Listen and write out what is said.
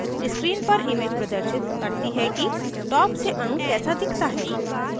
screen पर image प्रदर्शित करती है कि top से अणु कैसा दिखता है